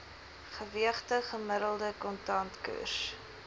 geweegde gemiddelde kontantkoers